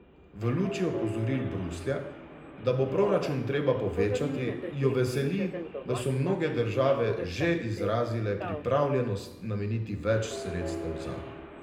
V luči opozoril Bruslja, da bo proračun treba povečati, jo veseli, da so mnoge države že izrazile pripravljenost nameniti več sredstev zanj.